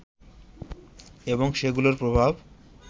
এবং সেগুলোর প্রভাব